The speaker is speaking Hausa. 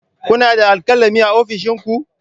Kuna da alkalami a ofishin ku?